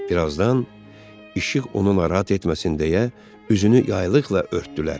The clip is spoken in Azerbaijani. Birazdan işıq onu narahat etməsin deyə üzünü yaylıqla örtdülər.